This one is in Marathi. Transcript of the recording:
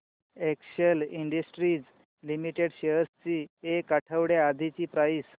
एक्सेल इंडस्ट्रीज लिमिटेड शेअर्स ची एक आठवड्या आधीची प्राइस